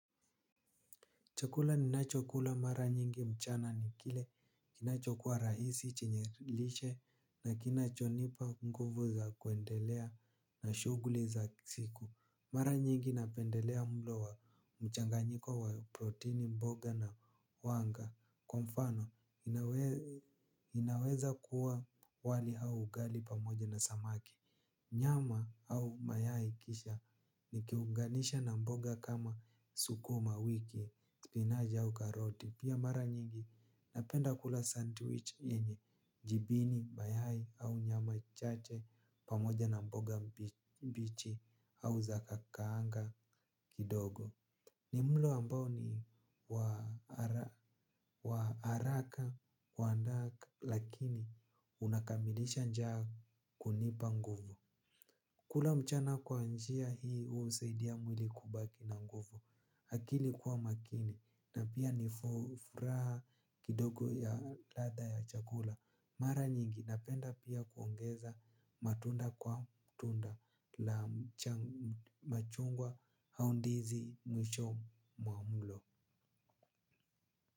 Chakula ninachokula mara nyingi mchana ni kile kinachokua rahisi chenye lishe na kinachonipa nguvu za kuendelea na shuguli za siku. Mara nyingi napendelea mlo wa mchanganyiko wa proteini mboga na wanga. Kwa mfano, inaweza kuwa wali au ugali pamoja na samaki. Nyama au mayai kisha nikiunganisha na mboga kama sukuma wiki. Spinaji au karoti. Pia mara nyingi napenda kula sandwich yenye jibini, mayai au nyama chache. Pamoja na mboga mbichi au zakukaanga kidogo. Ni mlo ambao ni wa wa haraka kuandaa lakini unakamilisha njaa kunipa nguvu. Kula mchana kwa njia hii unisaidia mwili kubaki na nguvu. Akili kuwa makini. Na pia nifuraha kidogo ya ladha ya chakula. Mara nyingi napenda pia kuongeza matunda kwa mtunda la machungwa au ndizi mwisho mwa mlo.